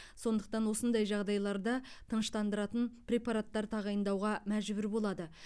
сондықтан осындай жағдайларда тыныштандыратын препараттар тағайындауға мәжбүр болады